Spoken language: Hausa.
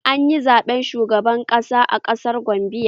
An yi zaɓaɓɓen shugaban kasa a ƙasar Gambiya